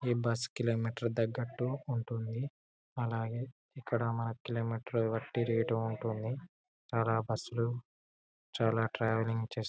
ఈ bus kilometre తెగేంటు ఉంటుంది. అలాగే ఇక్కడ మనకు కిలోమీటర్ బట్టి రేట్ ఉంటుంది. అలా బస్సు లు చాలా ట్రావెలింగ్ చేస్ --